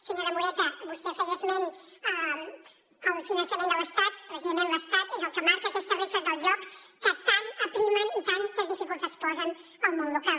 senyora moreta vostè feia esment al finançament de l’estat precisament l’estat és el que marca aquestes regles del joc que tant aprimen i tantes dificultats posen al món local